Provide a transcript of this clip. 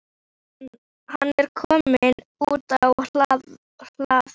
Sögusvið Árna er einmitt að austan bæði og vestan